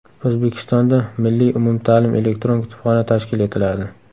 O‘zbekistonda Milliy umumta’lim elektron kutubxona tashkil etiladi.